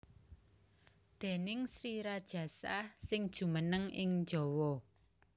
Déning Sri Rajasa sing jumeneng ing Jawa